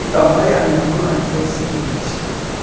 Então, aí a minha mãe foi o seguinte.